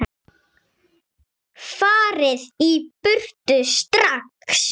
FARIÐ Í BURTU STRAX!